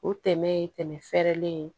O tɛmɛ ye tɛmɛ fɛɛrɛlen ye